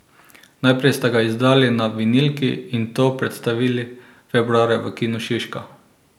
Najprej ste ga izdali na vinilki in to predstavili februarja v Kinu Šiška.